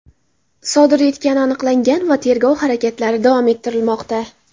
sodir etgani aniqlangan va tergov harakatlari davom ettirilmoqda.